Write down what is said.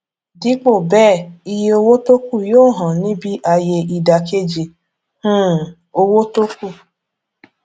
dípò bẹẹ iye owó tókù yóò hàn níbí ayé ìdàkejì um owó tókù